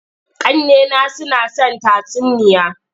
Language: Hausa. Ƙannena suna son tatsuniya.